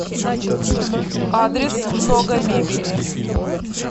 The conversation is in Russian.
адрес много мебели